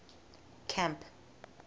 camp